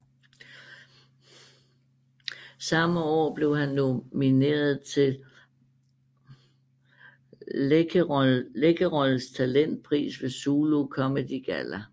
Samme år blev han nomineret til Läkerols Talentpris ved Zulu Comedy Galla